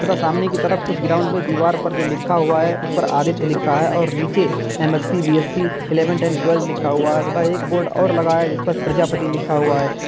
तथा सामने की तरफ उस ग्राउंड मे दीवार पर जो लिखा हुआ है उस पर आदित्य लिखा है और नीचे M Sc B Sc eleventh and twelfth लिखा हुआ है तथा एक बोर्ड और लगाया जिस पर प्रजापति लिखा हुआ है।